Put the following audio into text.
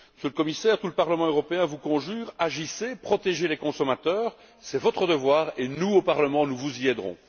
Monsieur le Commissaire, tout le Parlement européen vous en conjure, agissez, protégez les consommateurs, c'est votre devoir. Nous, au Parlement, nous vous y aiderons.